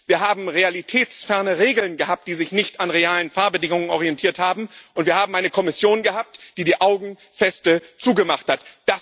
Wir haben realitätsferne Regeln gehabt, die sich nicht an realen Fahrbedingungen orientiert haben und wir haben eine Kommission gehabt, die die Augen fest zugemacht hat.